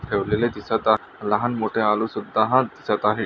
ठेवलेले दिसत लहान-मोठे आलू सुद्धा हा दिसत आहे.